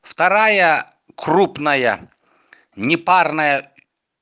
вторая крупная непарная